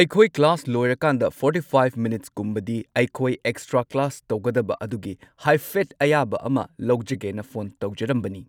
ꯑꯩꯈꯣꯏ ꯀ꯭ꯂꯥꯁ ꯂꯣꯏꯔꯀꯥꯟꯗ forty five ꯃꯤꯅꯠꯁꯀꯨꯝꯕꯗꯤ ꯑꯩꯈꯣꯏ ꯑꯦꯛꯁꯇ꯭ꯔꯥ ꯀ꯭ꯂꯥꯁ ꯇꯧꯒꯗꯕ ꯑꯗꯨꯒꯤ ꯍꯥꯏꯐꯦꯠ ꯑꯌꯥꯕ ꯑꯃ ꯂꯧꯖꯒꯦꯅ ꯐꯣꯟ ꯇꯧꯖꯔꯝꯕꯅꯤ꯫